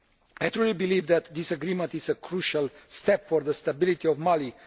I truly believe that this agreement is a crucial step for the stability of Mali